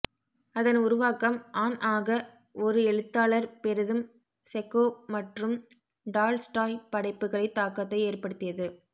அதன் உருவாக்கம் ஆன் ஆக ஒரு எழுத்தாளர் பெரிதும் செக்கோவ் மற்றும் டால்ஸ்டாய் படைப்புகளை தாக்கத்தை ஏற்படுத்தியது